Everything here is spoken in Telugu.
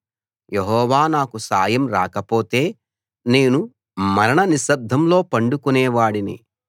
యెహోవా నాకు సాయం రాకపోతే నేను మరణనిశ్శబ్దంలో పండుకునే వాడినే